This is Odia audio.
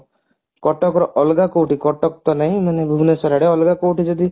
କଟକ ର ଅଲଗା କୋଉଠି କଟକ ତ ନାଇଁ ମାନେ ଭୁବନେଶ୍ବର ଆଡେ ମାନେ ଅଲଗା କୋଉଠି ଯଦି